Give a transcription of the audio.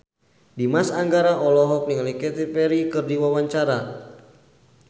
Dimas Anggara olohok ningali Katy Perry keur diwawancara